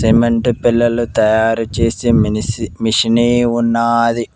Cement పెల్లలు తయారు చేసే మినిసి మిషిని ఉన్నాది.